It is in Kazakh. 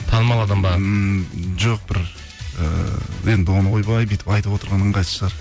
танымал адам ба ммм жоқ бір ііі енді оны ойбай бүйтіп айтып отырған ыңғайсыз шығар